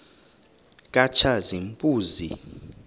katshazimpuzi